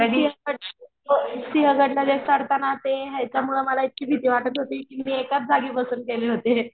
पण सिंहगड सिंहगड ला गाद चढताना त्या ह्यांच्यामुळे मला इतकी भीती वाटत होती कि मी एकाच जागी बसून गेले होते.